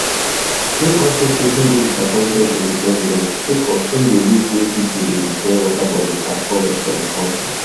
im also say he dey disappointed in di president sake of im dey look wey pipo dey destroy waterbodies and forests for di kontri